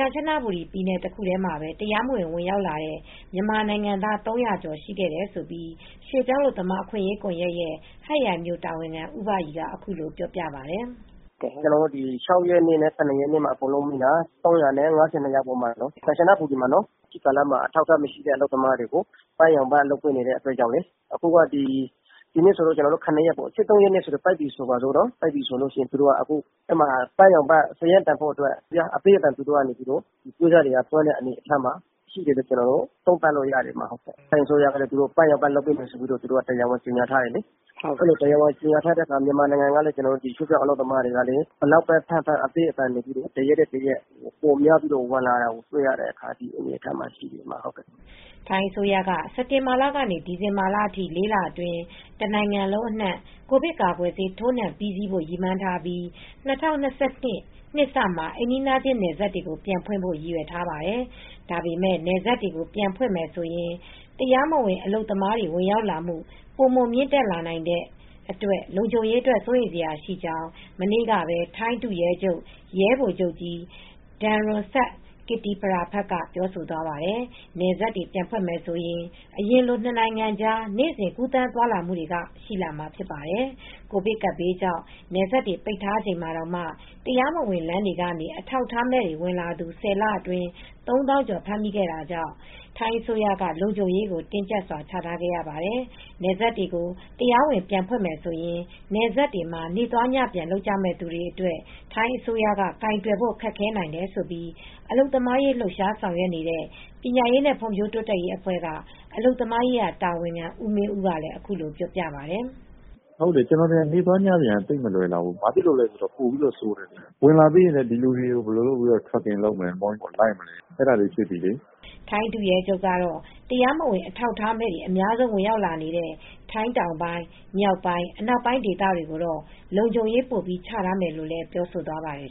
ကမ်ချနဘူရီပြည်နယ် တခုတည်းမှာပဲ တရားမဝင် ဝင်ရောက်လာတဲ့ မြန်မာနိုင်ငံသား ၃၀၀ ကျော်ရှိခဲ့တယ်လို့ ရွှေ့ပြောင်းအလုပ်သမား အခွင့်အရေးကွန်ရက်ရဲ့ ဟတ်ရိုင်မြို့တာဝန်ခံ ဦးဘရီက အခုလိုပြောပြပါတယ်။ “ကျနော်တို့ ၆ ရက်နေ့နဲ့ ၇ ရက်နေ့မှာ အကုန်လုံးမိတာ ခိုးဝင်လာသူ ၃၅၂ ယောက်ရှိတယ်၊ ကမ်ချနဘူရီမှာလေ။ ဒီကာလမှာ အထောက်အထားမရှိတဲ့ အလုပ်သမားတွေကို ပန်းရောင်ကတ် လုပ်ပေးနေတဲ့ကာလလေ။ ဒီနေ့ဆို ၇ ရက်လေ။ ၁၃ ရက်နေ့မှာ ပန်းရောင်ကတ် ပိတ်မယ်ဆိုတော့ ပန်းရောက်ကတ် (တရားဝင် အလုပ်လုပ်ခွင့် အထောက်အထားကတ်) စာရင်းသွင်းဖို့အတွက် အမီ ပွဲစားတွေက အသည်းအသန် သွင်းတယ်လို့ သုံးသပ်လို့ရတယ်။ ထိုင်းအစိုးရက ပန်းရောက်ကတ် လုပ်ပေးမယ်လို့ တရားဝင် ကြေညာထားတယ်။ အဲဒီလို ကြေညာထားတော့ ကျနော်တို့ မြန်မာအလုပ်သမားတွေကလည်း ဘယ်လောက်ပဲဖမ်းဖမ်း ပိုများပြီး ဝင်လာတဲ့ အနေအထားမှာ ရှိတယ်။” ထိုင်းအစိုးရက စက်တင်ဘာလကနေ ဒီဇင်ဘာလထိ ၄ လအတွင်း တနိုင်ငံလုံးအနှံ့ ကိုဗစ်ကာကွယ်ဆေး ထိုးနှံပြီးစီးဖို့ ရည်မှန်းထားပြီး ၂၀၂၂ နှစ်စမှာ အိမ်နီးချင်း နယ်စပ်တွေကို ပြန်ဖွင့်ဖို့ ရည်ရွယ်ထားပါတယ်။ ဒါပေမယ့် နယ်စပ်တွေကို ပြန်ဖွင့်မယ်ဆိုရင် တရားမဝင် အလုပ်သမားတွေ ဝင်ရောက်လာမှု ပိုမိုမြင့်တက်လာနိုင်တဲ့အတွက် လုံခြုံရေးအတွက် စိုးရိမ်စရာရှိကြောင်း မနေ့ကပဲ ထိုင်းဒုရဲချုပ် ရဲဗိုလ်ချုပ်ကြီး ဒမ်ရွန်စတ် ကစ်တီပရဖာ့က ပြောဆိုသွားပါတယ်။ နယ်စပ်တွေ ပြန်ဖွင့်မယ်ဆိုရင် အရင်လို နှစ်နိုင်ငံကြား နေ့စဉ် ကူးသန်းသွားလာမှုတွေက ရှိလာမှာဖြစ်ပါတယ်။ ကိုဗစ်ကပ်ဘေးကြောင့် နယ်စပ်တွေ ပိတ်ထားချိန်မှာတောင် တရားမဝင် လမ်းတွေကနေ အထောက်အထားမဲ့ဝင်လာသူ ၁၀ လအတွင်း ၃၀,၀၀၀ ကျော် ဖမ်းမိခဲ့တာကြောင့် ထိုင်းအစိုးရက လုံခြုံရေးကို တင်းကျပ်စွာ ချထားရပါတယ်။ နယ်စပ်တွေကို တရားဝင် ပြန်ဖွင့်မယ်ဆိုရင် နယ်စပ်မှာ နေ့သွားညပြန်လုပ်ကြမယ့် သူတွေအတွက် ထိုင်းအစိုးရက ကိုင်တွယ်ဖို့ ခက်ခဲနိုင်တယ်လို့ အလုပ်သမားရေး လှုပ်ရှားဆောင်ရွက်နေတဲ့ ပညာရေးနဲ့ ဖွံ့ဖြိုးတိုးတက်ရေးအဖွဲ့က အလုပ်သမားရေးရာ တာဝန်ခံ ဦးမင်းဦးကလည်း အခုလိုပြောပါတယ်။ “ကျနော်ထင်တယ် နေ့သွားညပြန်က မလွယ်လှဘူး။ ပိုပြီးဆိုးမယ်။ ဝင်လာပြီးရင်လည်း ဒီလူတွေကို ဘယ်လိုစောင့်ကြည့် စစ်ဆေးမလဲ ဆိုတာတွေက ဖြစ်လာပြီလေ။” ထိုင်းဒုရဲချုပ်ကတော့ တရားမဝင် အထောက်အထားမဲ့တွေ အများဆုံး ဝင်ရောက်လာနေတဲ့ ထိုင်းတောင်ပိုင်း၊ မြောက်ပိုင်း၊ အနောက်ပိုင်း ဒေသတွေကိုတော့ လုံခြုံရေး ပိုပြီးချထားမယ်လို့လည်း ပြောဆိုသွားပါတယ်